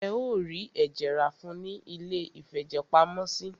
Ẹ o rí ẹ̀jẹ̀ rá fún ùn ní iléìfẹ̀jẹ̀pamọ́sí.